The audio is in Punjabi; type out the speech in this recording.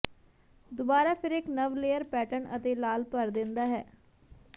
ਦੁਬਾਰਾ ਫਿਰ ਇੱਕ ਨਵ ਲੇਅਰ ਪੈਟਰਨ ਅਤੇ ਲਾਲ ਭਰ ਦਿੰਦਾ ਹੈ